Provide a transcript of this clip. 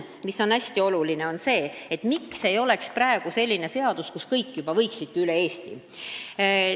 Teine hästi oluline teema on, miks ei ole praegu teie ees sellist seadust, kus on sees juba kõik omavalitsused üle Eesti.